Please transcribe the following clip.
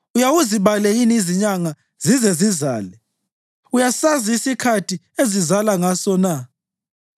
Uyawuzibale yini izinyanga zize zizale? Uyasazi isikhathi ezizazala ngaso na?